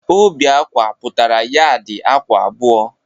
Óbì ákwà pụtara yaadi ákwà abụọ.